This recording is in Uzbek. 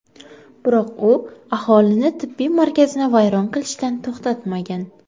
Biroq u aholini tibbiy markazni vayron qilishdan to‘xtatmagan.